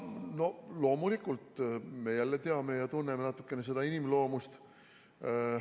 Loomulikult, me teame ja tunneme natukene inimloomust.